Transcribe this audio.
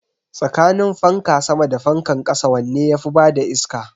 Tsakanin fanka sama da fankan ƙasa wanne yafi bada iska?